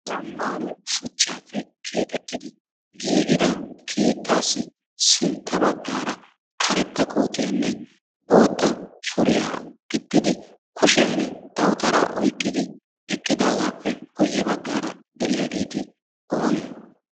Zammaana shuchchaappe keexettidi giigida keettaassi sintta baggaara karetta kootiyanne bootta suriya gixxidi kushiyan dawutaraa oyiqqidi eqqidaagaappe guyye baggaara de'iyaageeti oonee?